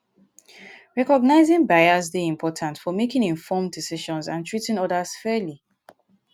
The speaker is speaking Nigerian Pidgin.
recognizing bias dey important for making informed decisions and treating odas fairly.